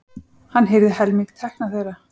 Hann hirði helming tekna þeirra.